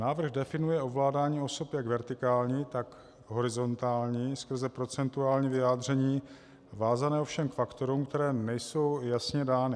Návrh definuje ovládání osob jak vertikální, tak horizontální skrze procentuální vyjádření, vázané ovšem k faktorům, které nejsou jasně dány.